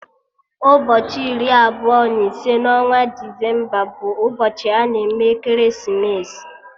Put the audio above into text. Ụbọchị iri abụọ na ise na onwa Desemba bụ ụbọchị ana eme ekeresimesi